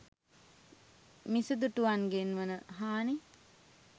මිසදිටුවන්ගෙන් වන හානි